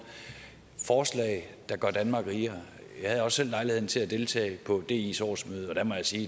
forslag der gør danmark rigere jeg havde også selv lejligheden til at deltage i dis årsmøde og der må jeg sige